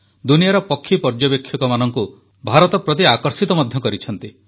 ଦୁନିଆର ପକ୍ଷୀ ପର୍ଯ୍ୟବେକ୍ଷକମାନଙ୍କୁ ଭାରତ ପ୍ରତି ଆକର୍ଷିତ ମଧ୍ୟ କରିଛନ୍ତି